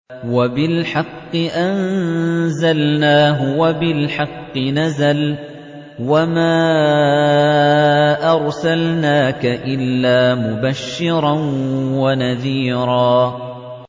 وَبِالْحَقِّ أَنزَلْنَاهُ وَبِالْحَقِّ نَزَلَ ۗ وَمَا أَرْسَلْنَاكَ إِلَّا مُبَشِّرًا وَنَذِيرًا